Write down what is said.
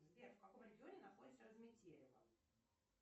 сбер в каком регионе находится разметелево